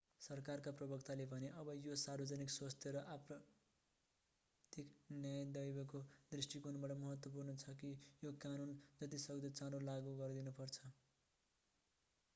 सरकारका प्रवक्ताले भने अब यो सार्वजनिक स्वास्थ्य र आपराधिक न्याय दवैको दृष्टिकोणबाट महत्त्वपूर्ण छ कि यो कानून जति सक्दो चाँडो लागू गरिनुपर्दछ